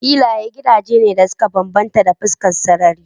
Filayen gidaje ne da suka bambanta ta fuskar sarari.